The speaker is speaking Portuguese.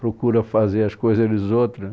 Procura fazer as coisas dos outros.